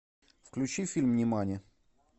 включи фильм нимани